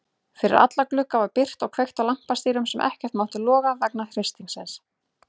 Fyrir alla glugga var byrgt og kveikt á lampatýrum sem ekkert máttu loga vegna hristingsins.